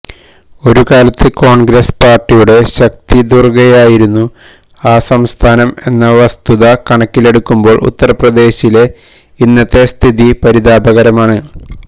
ഒരുകാലത്ത് കോണ്ഗ്രസ്സ് പാര്ട്ടിയുടെ ശക്തിദുര്ഗ്ഗമായിരുന്നു ആ സംസ്ഥാനം എന്ന വസ്തുത കണക്കിലെടുക്കുമ്പോള് ഉത്തര്പ്രദേശിലെ ഇന്നത്തെ സ്ഥിതി പരിതാപകരമാണ്